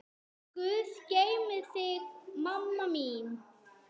Guð geymi þig, mamma mín.